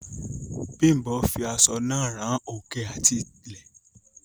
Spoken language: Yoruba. Bimbo fi aṣọ náà rán òkè àti ilẹ̀.